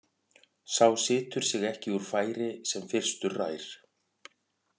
Sá situr sig ekki úr færi sem fyrstur rær.